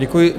Děkuji.